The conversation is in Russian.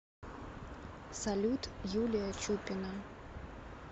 салют юлия чупина